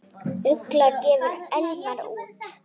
Ugla gefur Elmar út.